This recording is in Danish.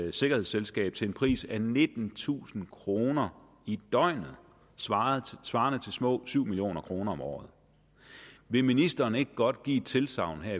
et sikkerhedsselskab til en pris af nittentusind kroner i døgnet svarende svarende til små syv million kroner om året vil ministeren ikke godt give et tilsagn